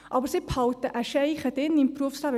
Aber sie behalten einen Fuss im Berufsleben.